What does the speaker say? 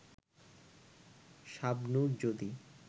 শাবনূর যদি